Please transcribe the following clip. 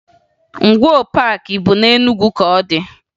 Ngwoo Paakị bụ na Enugwu ka ọ dị